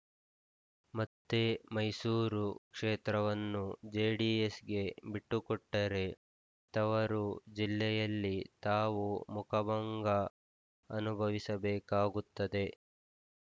ಮತ್ತೆ ಮೈಸೂರು ಕ್ಷೇತ್ರವನ್ನು ಜೆಡಿಎಸ್‌ಗೆ ಬಿಟ್ಟುಕೊಟ್ಟರೆ ತವರು ಜಿಲ್ಲೆಯಲ್ಲಿ ತಾವು ಮುಖಭಂಗ ಅನುಭವಿಸಬೇಕಾಗುತ್ತದೆ